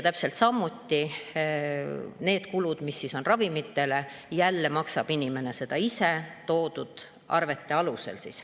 Täpselt samuti need kulud, mis on tehtud ravimitele, maksab jälle kinni inimene ise, toodud arvete alusel.